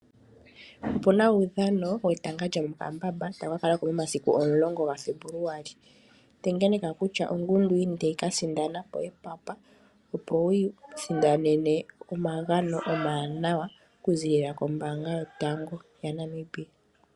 Opu na uudhano wetanga lyomokambamba tawu ka kalako momasiku omulongo gaFebuluali, tengeneka kutya ongundu yini tayi ka sindana epapa opo wiisindanene omagano omawanawa okuzilila kombanga yotango yopashigwana.